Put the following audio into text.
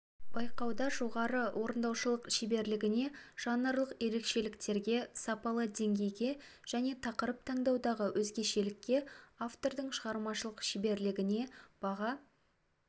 байқауда жоғары орындаушылық шеберлігіне жанрлық ерекшеліктерге сапалы деңгейге және тақырып таңдаудағы өзгешелікке автордың шығармашылық шеберлігіне баға